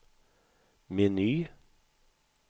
meny